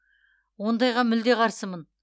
ондайға мүлде қарсымын